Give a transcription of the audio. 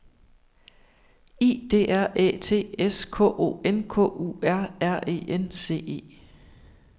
I D R Æ T S K O N K U R R E N C E